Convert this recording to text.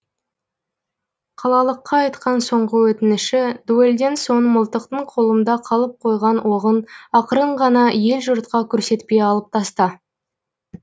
қалалыққа айтқан соңғы өтініші дуэльден соң мылтықтың қолымда қалып қойған оғын ақырын ғана ел жұртқа көрсетпей алып таста